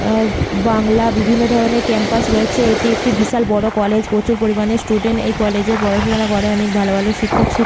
আহ বাংলা বিভিন্ন ধরনের ক্যাম্পাস রয়েছে। এটি একটি বিশাল বড় কলেজ । প্রচুর পরিমানে স্টুডেন্ট এই কলেজে পড়াশুনা করে। অনেক ভালো ভালো শিক্ষক শিক্ষিকা--